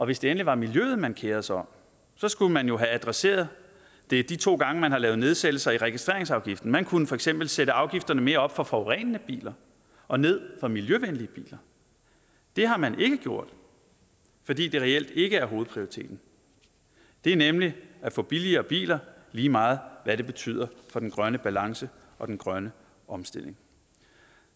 hvis det endelig var miljøet man kerede sig om skulle man jo have adresseret det de to gange hvor man har lavet nedsættelser i registreringsafgiften man kunne for eksempel have sat afgifterne mere op for forurenende biler og ned for miljøvenlige biler det har man ikke gjort fordi det reelt ikke er hovedprioriteten det er nemlig at få billigere biler lige meget hvad det betyder for den grønne balance og den grønne omstilling